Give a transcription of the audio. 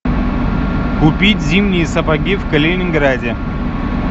купить зимние сапоги в калининграде